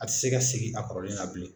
A tɛ se ka segin a kɔrɔlen na bilen.